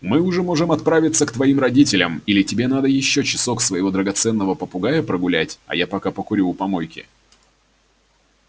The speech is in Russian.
мы уже можем отправиться к твоим родителям или тебе надо ещё часок своего драгоценного попугая прогулять а я пока покурю у помойки